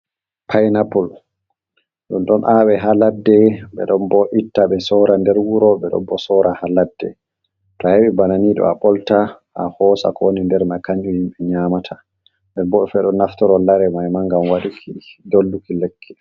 painaple, ɗum ɗon awe ha ladde be ɗon bo itta ɓe sora nder wuro ɓe ɗon bo sora ha ladde, to a heɓi banani ɗo a ɓolta a hosa ko woni nder man kanju himɓe nyamata, den bo ɓeɗon naftoro lare mai ma gam waduki dolluki lekki.